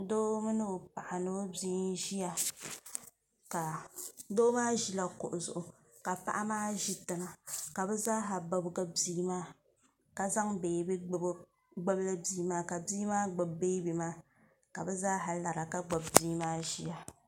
doo mini o paɣa ni o bia n-ʒiya ka doo maa ʒila kuɣu zuɣu ka paɣa maa ʒi tiŋa ka bɛ zaaha bibigi bia maa ka zaŋ beebi gbibi o gbibili bia maa ka bia maa gbibi bia beebi maa ka bɛ zaaha lara ka gbibi bia maa ʒiya